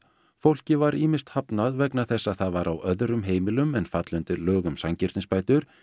fólki var ýmist hafnað vegna þess að það var á öðrum heimilum en falla undir lög um sanngirnisbætur